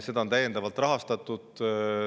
Seda on täiendavalt rahastatud.